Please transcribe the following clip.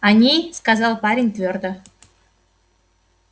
они сказал парень твёрдо